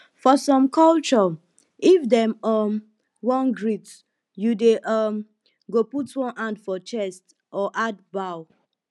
for some culture if dem um wan greet you dem um go put one hand for chest or add bow